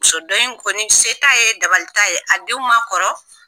Muso dɔ in kɔni se t'a ye, dabali t'a ye, a denw ma kɔrɔ.